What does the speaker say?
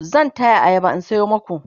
zan taya ayaba in sayo maku